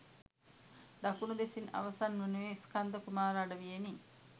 දකුණු දෙසින් අවසන් වනුයේ ස්කන්ධ කුමාර අඩවියෙනි